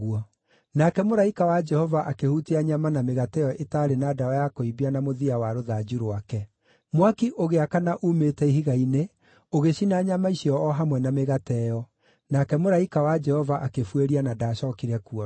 Nake mũraika wa Jehova akĩhutia nyama na mĩgate ĩyo ĩtaarĩ na ndawa ya kũimbia na mũthia wa rũthanju rwake. Mwaki ũgĩakana uumĩte ihiga-inĩ, ũgĩcina nyama icio o hamwe na mĩgate ĩyo. Nake mũraika wa Jehova akĩbuĩria na ndaacookire kuonwo.